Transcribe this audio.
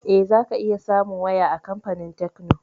Eh, za ka iya samun waya a kamfanin tekno